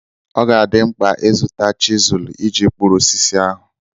Ọ ga-adị mkpa ịzụta chizụlụ iji kpụrụ osisi ahu.